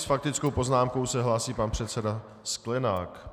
S faktickou poznámkou se hlásí pan předseda Sklenák.